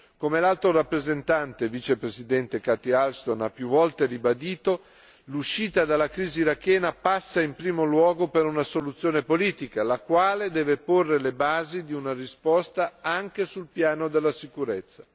Come l'Alto rappresentante Vicepresidente Catherine Ashton ha più volte ribadito, l'uscita dalla crisi irachena passa in primo luogo per una soluzione politica, la quale deve porre le basi di una risposta anche sul piano della sicurezza.